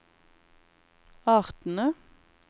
artene